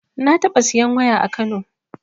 Na taɓa siyan waya a kano